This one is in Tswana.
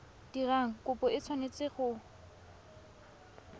dirang kopo o tshwanetse go